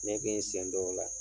Ne kɛ n sen don o la.